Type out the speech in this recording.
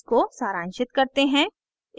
इसको सारांशित करते हैं